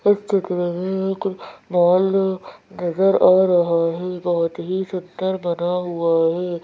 इस चित्र में एक नजर आ रहा है बहुत ही सुंदर बना हुआ है।